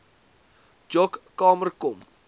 joc kamer kom